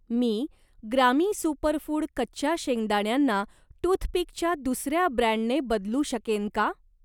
मी ग्रामी सुपरफूड कच्च्या शेंगदाण्यांना टूथपिकच्या दुसर्या ब्रँडने बदलू शकेन का?